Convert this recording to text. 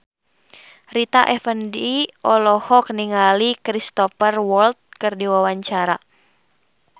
Rita Effendy olohok ningali Cristhoper Waltz keur diwawancara